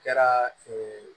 Kɛra